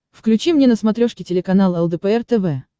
включи мне на смотрешке телеканал лдпр тв